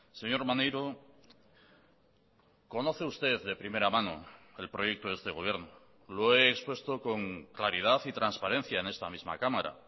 señor maneiro conoce usted de primera mano el proyecto de este gobierno lo he expuesto con claridad y transparencia en esta misma cámara